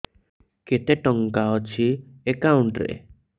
କେତେ ଟଙ୍କା ଅଛି ଏକାଉଣ୍ଟ୍ ରେ